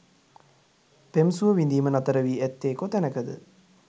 පෙම් සුව විඳීම නතරවී ඇත්තේ කොතැනකද?